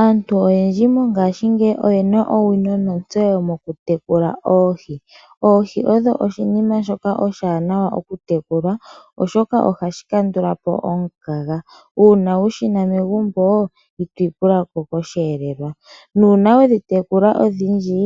Aantu oyendji mongashingeyi oyena owino nontseyo mokutekula oohi. Oohi odho oshinima shoka oshiwanawa okutekulwa oshoka ohashi kandula po omukaga. Uuna wu shina megumbo ito ipula ko koshihelelwa, nuuna wedhi tekula odhindji